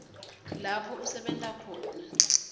lapho usebenta khona